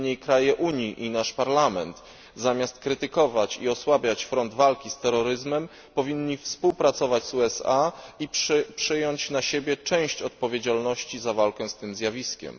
Niemniej kraje Unii i nasz Parlament, zamiast krytykować i osłabiać front walki z terroryzmem, powinny współpracować z USA i przejąć na siebie część odpowiedzialności za walkę z tym zjawiskiem.